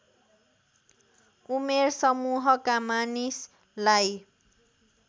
उमेर समूहका मानिसलाई